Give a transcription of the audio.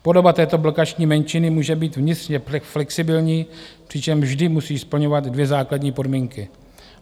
Podoba této blokační menšiny může být vnitřně flexibilní, přičemž vždy musí splňovat dvě základní podmínky.